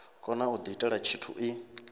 kone u diitela tshithu i